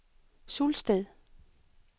Sulsted